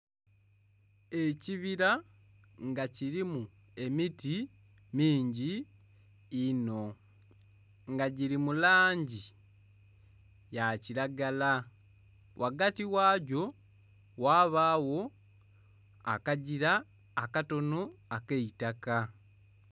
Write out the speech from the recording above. Ekibira nga kirimu emiti mingi inho nga giri mu langi ya kiragala. Ghaghati wagyo wabawo akagira akatono akeitaka